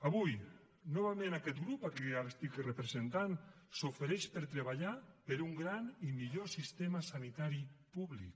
avui novament aquest grup a qui ara estic representant s’ofereix per a treballar per un gran i millor sistema sanitari públic